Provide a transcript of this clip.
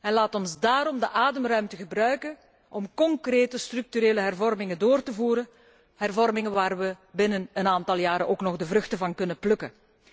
en laat ons daarom de ademruimte gebruiken om concrete structurele hervormingen door te voeren, hervormingen waar we binnen een aantal jaren ook nog de vruchten van kunnen plukken.